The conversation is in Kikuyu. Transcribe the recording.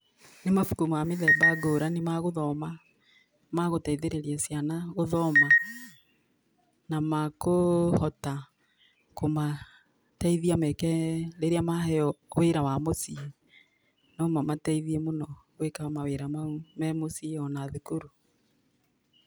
Nĩ mabuku ma mĩthemba ngũrani ma gũthoma magũteithĩrĩria ciana gũthoma na makũhota kũmateithia meke rĩrĩa maheo wĩra wa mũciĩ, no mamateithie mũno gwĩka mawĩra mau me mũciĩ ona thukuru.